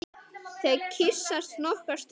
Þau kyssast nokkra stund.